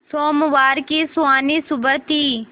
सोमवार की सुहानी सुबह थी